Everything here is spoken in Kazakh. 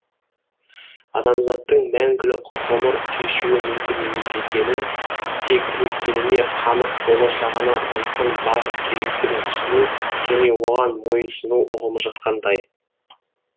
адамзаттың мәңгілік ғұмыр кешуі мүмкін емес екенін тек өткеніне қанық болашағына айқын бағыт керектігін түсіну және оған мойынсыну ұғымы жатқандай